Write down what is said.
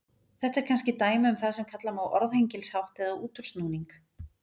Þetta er kannski dæmi um það sem kalla má orðhengilshátt eða útúrsnúning.